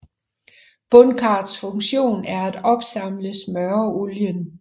Bundkarrets funktion er at opsamle smøreolien